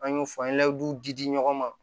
An y'o fɔ an ye duw di di di ɲɔgɔn ma